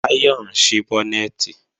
Táyọ̀ ń ṣí bọ́nẹ̀tì